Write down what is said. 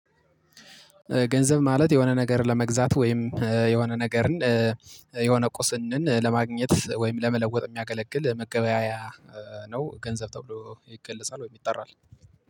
ገንዘብ ማለት የሆነ ነገር ለመግዛት ወይም የሆነ ነገርን የሆነ ቁስንን ለማግኘት ወይም ለመለወጥ የሚያገለግል መገበያያ ነው። ገንዘብ ተብሎ ይገልጻል ወይም ይጠራል።